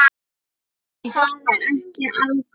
En það er ekki algott.